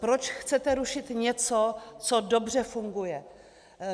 Proč chcete rušit něco, co dobře funguje?